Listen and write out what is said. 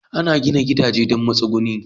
Ana gina gidaje don matsuguni.